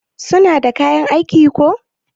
suna da kayan aiki ko?